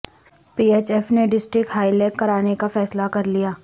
پی H F نے district hockey league کرانے کا فیصلہ کر لیا